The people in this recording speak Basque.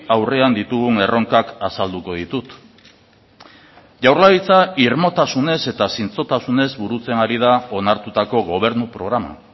aurrean ditugun erronkak azalduko ditut jaurlaritza irmotasunez eta zintzotasunez burutzen ari da onartutako gobernu programa